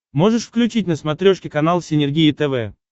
можешь включить на смотрешке канал синергия тв